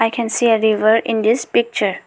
can see a river in this picture.